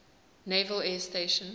naval air station